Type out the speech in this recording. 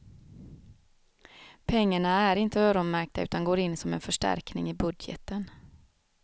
Pengarna är inte öronmärkta utan går in som en förstärkning i budgeten.